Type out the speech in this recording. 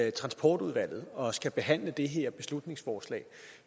i transportudvalget og skal behandle det her beslutningsforslag